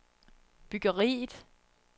byggeriet